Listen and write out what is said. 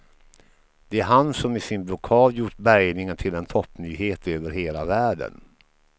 Det är han som med sin blockad gjort bärgningen till en toppnyhet över hela världen.